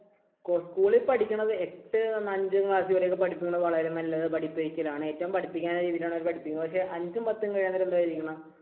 school ൽ പഠിക്കുന്നത് എട്ട്, അഞ്ചാം class വരെ പഠിപ്പിക്കുന്നത് വളരെ നല്ല പഠിപ്പിക്കലാണ്. ഏറ്റവും പഠിപ്പിക്കേണ്ട രീതിയിലാണ് അവർ പഠിപ്പിക്കുന്നത് പക്ഷേ അഞ്ചും പത്തും കഴിയാൻ നേരം എന്താ ചെയ്യുന്നത്